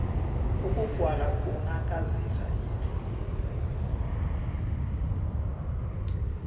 ukugwala kughakazisa indlu